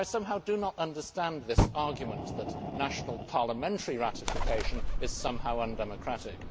So I do not understand this argument that national parliamentary ratification is somehow undemocratic.